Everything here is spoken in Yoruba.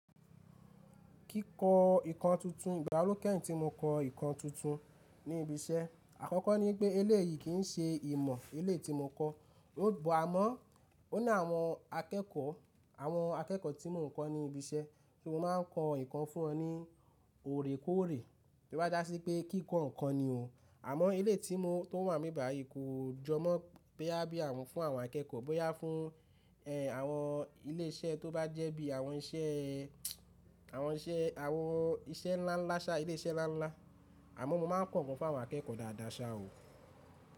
Kíkọ ǹkan tuntun, ìgbà wo ló kẹ́yìn tí mo kọ nǹkan tuntun ní ibi iṣẹ́, àkọ́kọ́ ni pé eléyìí kì í ṣe ìmọ̀ eléyìí tí mo kọ́. Ó. Bọ̀ amọ́, ó ní àwọn akẹ́kọ̀ọ́, àwọn akẹ́kọ̀ọ́ tí mo ń kọ́ ní ibi iṣẹ́, ṣùgbọ́n máa ń kọ ǹkan fún wọn ní òrèkóòrè. Tó bá jà sí pé kíkọ nǹkan ni o. Àmọ́ eléyìí tí mo, tó wà ńbí báyíi kò jọ mọ́ bóyá fún àwon akẹ́kọ̀ọ́ bóyá fún àwon ilé iṣẹ́ tó bá jẹ́ bii àwon ìṣẹ àwon ilé iṣẹ́ ńlá ńlá àmọ́ mo máa ń kọ ǹkan fún àwọn akẹ́kọ̀ọ́ dáadáa ṣá o.